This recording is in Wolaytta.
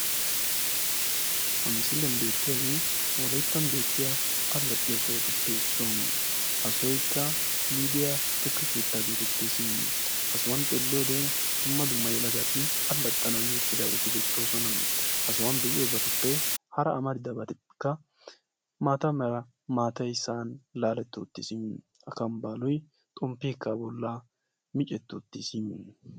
Ha misiliyaan beettiyaagee wolayttan beettiyaa allaxiyoo sohotuppe issuwaa. ha sohoykka lidiyaa tukke keettaa getettees. ha sohuwaan xeelliyoode dumma dumma yelagati allaxanaw yii uttidaageti beettoosona. ha sohuwaan be'iyoobatuppe hara amaridaagetikka maata mera maatay sa'an laaletti uttiisi. akkambaaloy xomppeekka a bollan micetti uttiis.